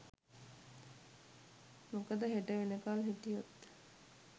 මොකද හෙට වෙනකල් හිටියොත්